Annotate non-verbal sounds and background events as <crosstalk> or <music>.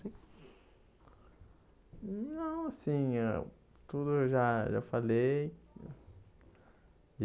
<unintelligible> Não, assim eh... Tudo eu já já falei.